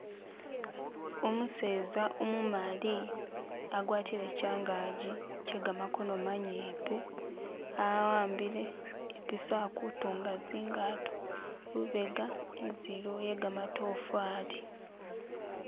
Umuseza umumali agwatile changagi chegamakono manyipi awambile ipiso alikutunga zingato lubega inzu iliwo ye gamatofali.